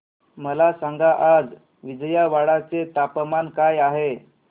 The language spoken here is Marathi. मला सांगा आज विजयवाडा चे तापमान काय आहे